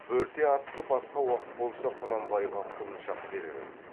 бөрте атты басқа уақыт болса құнанбайға құлыншақ берер еді